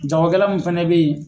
Jagokɛla mun fana bɛ ye